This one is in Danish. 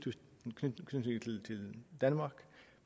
danmark